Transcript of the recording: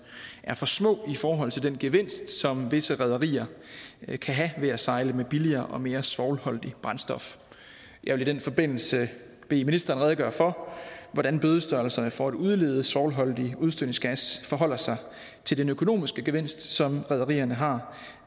er for små i forhold til den gevinst som visse rederier kan have ved at sejle med billigere og mere svovlholdigt brændstof jeg vil i den forbindelse bede ministeren redegøre for hvordan bødestørrelserne for at udlede svovlholdig udstødningsgas forholder sig til den økonomiske gevinst som rederierne har